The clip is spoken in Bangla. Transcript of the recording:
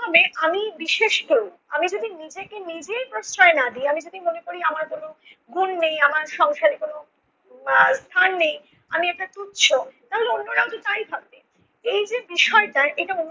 হবে আমি বিশেষ কেউ। আমি যদি নিজেকে নিজেই প্রশ্রয় না দেই, আমি যদি মনে করি আমার কোনো গুণ নেই, আমার সংসারে কোনো আহ স্থান নেই, আমি একটা তুচ্ছ, তাহলে অন্যরাও তো তাই ভাববে। এই যে বিষয়টা এটা